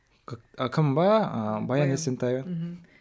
кім бе ы баян есентаева мхм